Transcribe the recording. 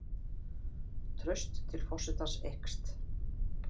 Traust til forsetans eykst